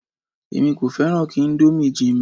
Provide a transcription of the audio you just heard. Èmi kò fẹ́ràn kí íńdómì jinmi.